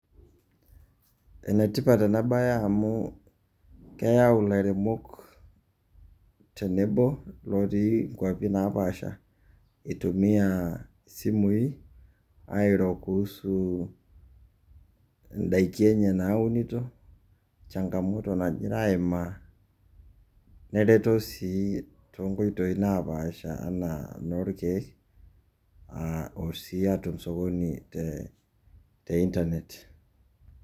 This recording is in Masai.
Enetipat enabae amu keyau ilairemok tenebo lotii nkwapi naapasha eitumia isimui airo kuhusu indaiki enye naunito, changamoto nagira aimia, nereto sii tonkoitoi napaasha anaa inoolkeek arashu o sii atum sokoni te te internet